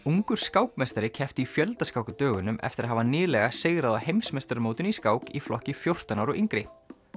ungur skákmeistari keppti í fjöldaskák á dögunum eftir að hafa nýlega sigrað á heimsmeistaramótinu í skák í flokki fjórtán ára og yngri